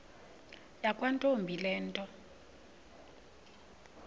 yakwantombi le nto